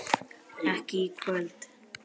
ekki í kvöld.